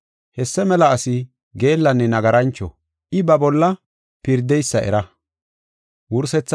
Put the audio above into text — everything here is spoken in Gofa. Hessa mela asi geellanne nagarancho; I ba bolla pirdeysa era.